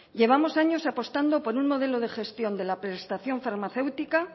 llevamos años apostando por un modelo de gestión de la prestación farmacéutica